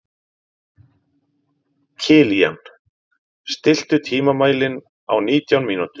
Kilían, stilltu tímamælinn á nítján mínútur.